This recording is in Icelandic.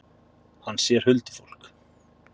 Hann sér huldufólk.